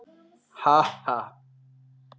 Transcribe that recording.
Ha, ha.